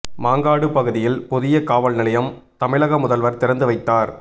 மாங்காடு பகுதியில் புதிய காவல் நிலையம் தமிழக முதல்வர் திறந்து வைத்தார்